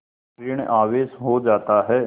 ॠण आवेश हो जाता है